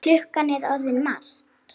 Klukkan er orðin margt.